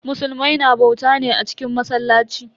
Musulmai na bauta ne a cikin masallaci.